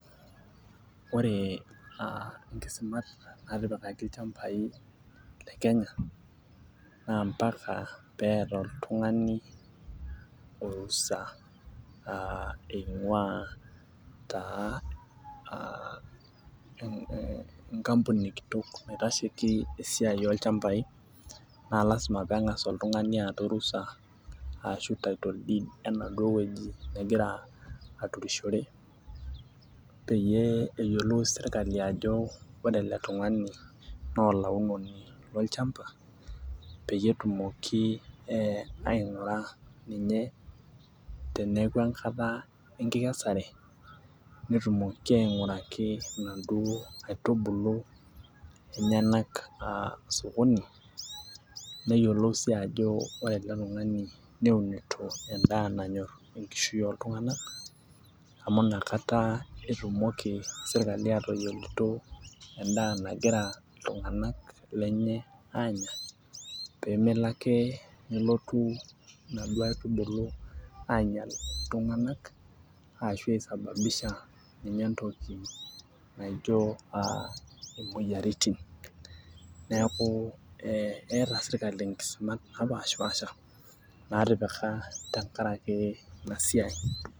Oore inkisimat natipikaki ilchambai le Kkeny, naa mpaka peyie eeta oltung'ani orusa eing'uaa enkampuni kitok naitasheki esiaia olchambai, naa lazima peng'asa oltung'ani aata orusa arashu title deed enaduo wueji nagira aturishore, peyie eyiolou serkali aajo oore ele tung'ani naa olaunoni lolchamba, peyie etumoki aing'ura ninye teniaku enkata enkikesare, netumoki aing'uraki inaduo aitubulu enyenak osokoni, neyiolou sii aajo oore ele tung'ani neunitoi en'daa nanyor enkishui oltung'anak, amuu inakata etumoki serkali atayiolito en'daa nagira iltung'anak lenye aanya, pee melo aake nelotu inaduo aitubulu ainyial iltung'anak arashu eyau imueyiaritin, niaku eeta serkali inkisumat napaashipaasha, natipika tenkaraki iina siai.